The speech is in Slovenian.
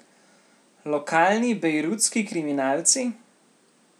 Lokalni bejrutski kriminalci?